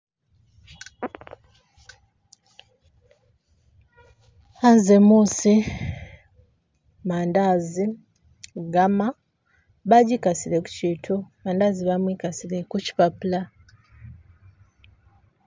Anze musi, madazi, gama bajiikasile kushiintu madazi bamwikazile khushipapula